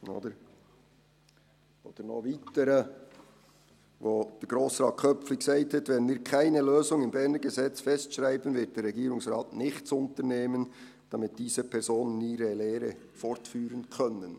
Noch ein Weiteres, Grossrat Köpfli sagte: «Wenn wir keine Lösung im Berner Gesetz festschreiben, wird der Regierungsrat nichts unternehmen, damit diese [...] Personen ihre Lehre fortführen können.